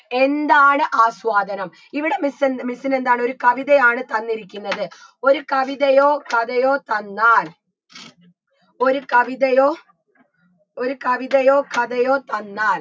എന്താണ് ആസ്വാദനം ഇവിടെ miss എൻ miss ന് എന്താണ് ഒരു കവിതയാണ് തന്നിരിക്കുന്നത് ഒരു കവിതയോ കഥയോ തന്നാൽ ഒരു കവിതയോ ഒരു കവിതയോ കഥയോ തന്നാൽ